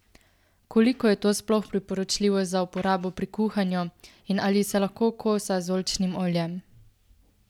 Koliko je to sploh priporočljivo za uporabo pri kuhanju in ali se lahko kosa z oljčnim oljem?